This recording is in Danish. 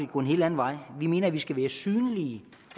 gå en helt anden vej vi mener at vi skal være synlige